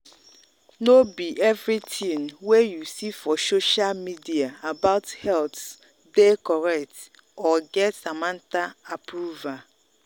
no be everything wey you see for social media about health dey correct or get samantha approval.